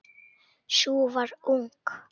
Sú var ung!